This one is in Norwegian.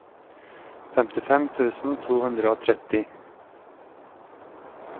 femtifem tusen to hundre og tretti